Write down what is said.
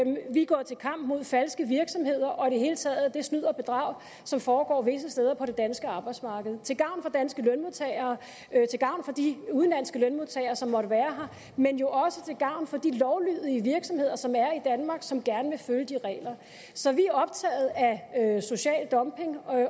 vi går til kamp mod falske virksomheder og i det hele taget det snyd og bedrag som foregår visse steder på det danske arbejdsmarked til gavn for danske lønmodtagere til gavn for de udenlandske lønmodtagere som måtte være her men jo også til gavn for de lovlydige virksomheder som er i danmark og som gerne vil følge de regler så vi er optaget af social dumping